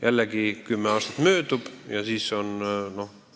Jällegi kümme aastat möödub ja siis on kõik.